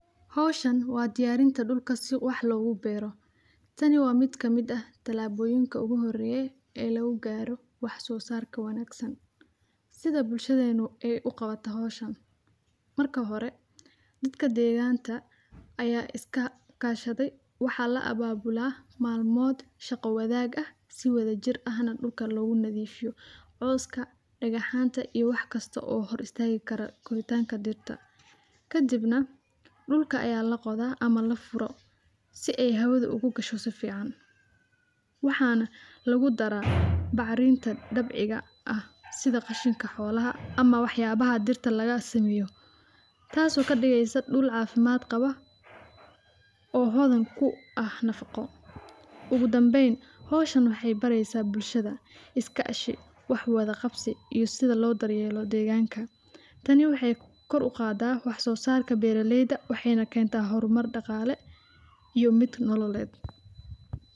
Hawshan waa diyaarinta dhulka si wax loogu berro. Tani waa mid ka mida talaabooyinka ugu horreeyay ee lagu gaaro wax soo saarka wanaagsan sida bulshadeenu ee u qabata Hawshan. Marka hore, dadka deegaanta ayaa iska kaashaday waxaa la abaabula maalmood shaqo-wadaaga si wada jir ahan dhulka lagu nadiifiyo, ooiska dhagaxaanta iyo wax kasta oo hor istaagi kara goortaanka dirta. Ka dibna dhulka ayaa la qodaa ama la furo si ay hawadu ugu gasho safiican. Waxaana lagu darra bacriinta dabciga ah sida qashinka xoolaha ama waxyaabaha dirta laga samayo. Taaso ka dhigaysa dhul caafimaad qaba oo hoodan ku ah nafaqo ugu danbeyn. Hawshan waxay baraysaa bulshada, iskaashi, wax wada qabsi iyo sida loo daryeelo deegaanka. Tani waxay kor u qaadaa wax soo saarka beeraleyda. Waxayna keenta horumar dhaqaale iyo mid nololeed.